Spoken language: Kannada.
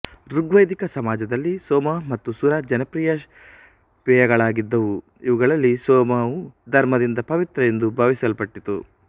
ಋಗ್ವೈದಿಕ ಸಮಾಜದಲ್ಲಿ ಸೋಮ ಮತ್ತು ಸುರ ಜನಪ್ರಿಯ ಪೇಯಗಳಾಗಿದ್ದವು ಇವುಗಳಲ್ಲಿ ಸೋಮವು ಧರ್ಮದಿಂದ ಪವಿತ್ರ ಎಂದು ಭಾವಿಸಲ್ಪಟ್ಟಿತ್ತು